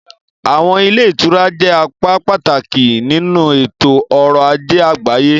Àwọn ilé ìtura jẹ́ apá pàtàkì nínú ètò ọrọ̀ ajé àgbáyé.